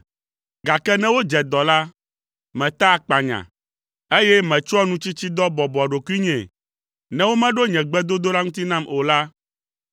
Gake ne wodze dɔ la, metaa akpanya, eye metsɔa nutsitsidɔ bɔbɔa ɖokuinyee. Ne womeɖo nye gbedodoɖa ŋuti nam o la,